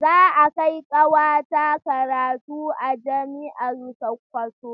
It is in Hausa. Za a kai ƙawata karatu a jami'ar Sokoto.